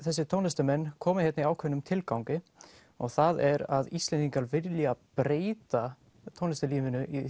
þessir tónlistarmenn komu hérna í ákveðnum tilgangi og það er að Íslendingar vilja breyta tónlistarlífinu